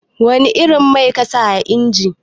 Wani irin mai kasa a injin?